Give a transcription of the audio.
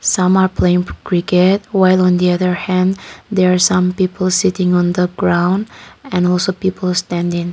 some are playing cricket while on the other hand there are some people sitting on the ground and also people standing.